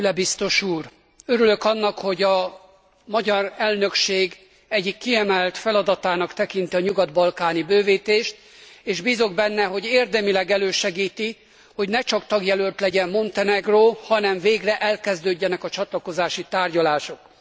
Füle biztos úr! Örülök annak, hogy a magyar elnökség egyik kiemelt feladatának tekinti a nyugat balkáni bővítést, és bízom benne, hogy érdemileg elősegíti, hogy ne csak tagjelölt legyen Montenegró, hanem végre elkezdődjenek a csatlakozási tárgyalások.